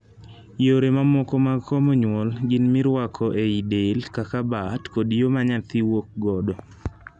Yore mamoko mag komo nyuol gin miruako ei del kaka bat kod yoo ma nyathi wuok godo.